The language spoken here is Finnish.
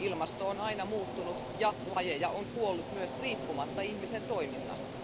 Ilmasto on aina muuttunut, ja lajeja on kuollut myös riippumatta ihmisen toiminnasta.